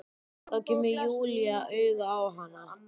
Þá kemur Júlía auga á hana.